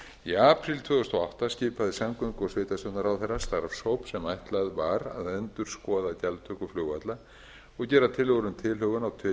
í apríl tvö þúsund og átta skipaði samgöngu og sveitarstjórnarráðherra starfshóp sem ætlaður var að endurskoða gjaldtöku flugvalla og gera tillögur um tilhögun á